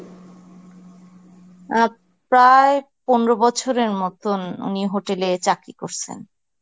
অ্যাঁ প্রায় পনরো বছরের মতন উনি hotel এ চাকরি করসেন.